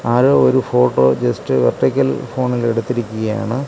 ആരോ ഒരു photo just vertical ഫോണിൽ എടുത്തിരിക്കുകയാണ്.